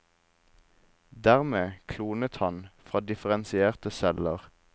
Dermed klonet han fra differensierte celler.